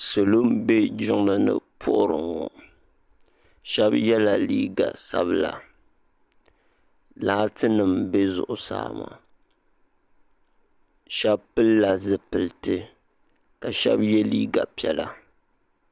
Salo m be jiŋlini m puhiri ŋɔ sheba yela liiga sabila laati nima m be zuɣusaa sheba pillila zipilti ka sheba ye liiga piɛla.